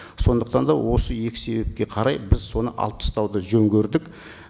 сондықтан да осы екі себепке қарай біз соны алып тастауды жөн көрдік